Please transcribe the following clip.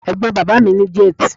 Ẹ̀gbọ́n bàbá mi ní jẹ́tì.